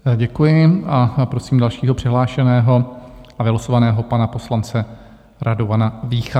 Děkuji a prosím dalšího přihlášeno a vylosovaného, pana poslance Radovana Vícha.